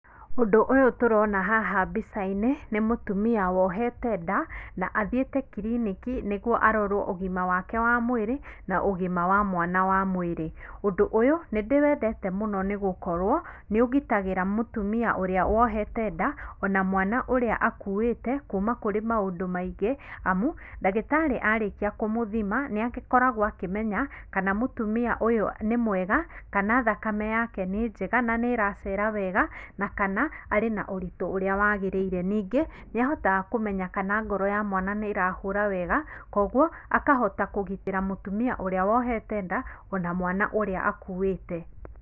Ũndũ ũyũ tũrona haha mbica-inĩ, nĩ mũtumia wohete nda na athiĩte kiriniki nĩguo arorwo ũgima wake wa mwĩrĩ, na ũgima wa mwana wa mwĩrĩ. Ũndũ ũyũ nĩndĩwendete mũno nĩgũkorwo nĩ ũgitagĩra mũtumia ũrĩa wohete nda, ona mwana ũrĩa akuuĩte, kuuma kũrĩ maũndũ maingĩ, amu, ndagĩtarĩ arĩkia kũmũthima nĩakoragwo akĩmenya, kana mũtumia ũyũ nĩ mwega, kana thakame yake nĩ njega na nĩ ĩracera wega, na kana arĩ na ũritũ ũrĩa wagĩrĩire. Ningĩ nĩahotaga kũmenya kana ngoro ya mwana nĩĩrahũra wega, koguo akahota kũgitĩra mũtumia ũrĩa wohete nda, ona mwana ũrĩa akuĩte.